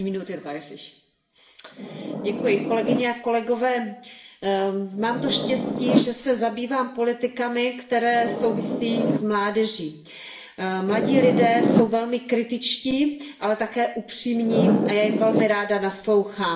Paní předsedající, mám to štěstí, že se zabývám politikami, které souvisí s mládeží. Mladí lidé jsou velmi kritičtí, ale také upřímní a já jim velmi ráda naslouchám.